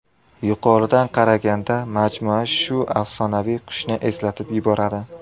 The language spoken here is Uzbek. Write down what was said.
Yuqoridan qaraganda majmua shu afsonaviy qushni eslatib yuboradi.